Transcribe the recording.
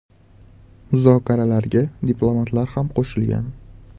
Muzokaralarga diplomatlar ham qo‘shilgan.